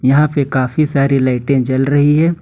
यहां पे काफी सारी लाइटें जल रही है।